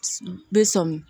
Bɛ sɔmi